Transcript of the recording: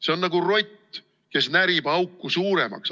See on nagu rott, kes närib auku suuremaks.